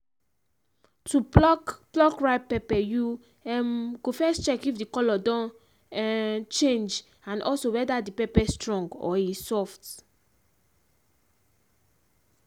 to pluck pluck ripe pepper you um go first check if the colour don um change and also whether the pepper strong or e soft.